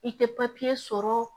I tɛ sɔrɔ